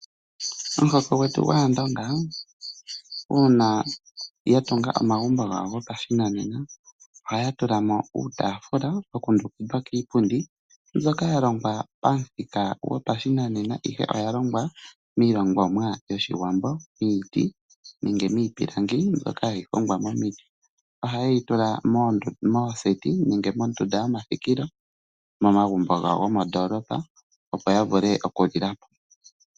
Omuhoko gwetu gwAandonga uuna ya tunga omagumbo gawo gopashinanena ohaya tula mo uutaafula wa kundukidhwa kiipundi mbyoka ya longwa pamuthika gopashinanena, ihe oya longwa miilongomwa yOshiwambo, miiti nenge miipilangi mbyoka hayi hongwa momiti. Ohaye yi tula mooseti nenge mondunda yomathikilo momagumbo gawo gomondoolopa, opo ya vule oku edhila po.